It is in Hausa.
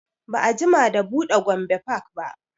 Ba a jima da buɗe gombe park ba